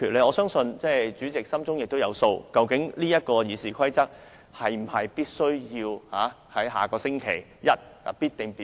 我相信主席心中有數，修改《議事規則》是否必須在下星期一進行表決。